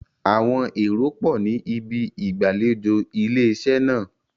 Àwọn èrò pọ̀ ní ibi ìgbàlejò ilé iṣẹ́ náà.